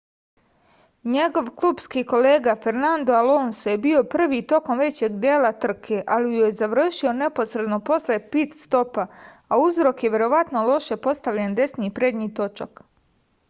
njegov klupski kolega fernando alonso je bio prvi tokom većeg dela trke ali ju je završio neposredno posle pit-stopa a uzrok je verovatno loše postavljen desni prednji točak